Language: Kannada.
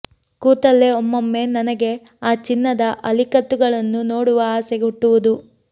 ಕೂತಲ್ಲೇ ಒಮ್ಮಮ್ಮೆ ನನಗೆ ಆ ಚಿನ್ನದ ಅಲಿಕತ್ತುಗಳನ್ನು ನೋಡುವ ಆಸೆ ಹುಟ್ಟುವುದು